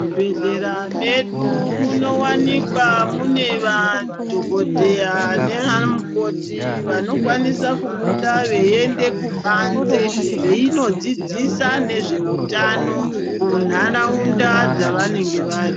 Muzvibhedhlera medu munowanikwa mune madhokodheya nevamukoti vanokwanisa kubuda veinde kubanze veinodzidzisa nezve utano munharaunda dzavanenge vari